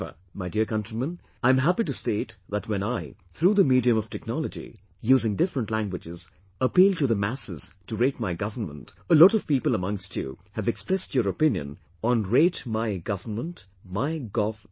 However, my dear countrymen, I am happy to state that when I, through the medium of technology, using different languages, appealed to the masses to rate my government, a lot of people amongst you have expressed your opinion on 'ratemygovernmentMyGov